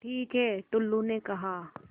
ठीक है टुल्लु ने कहा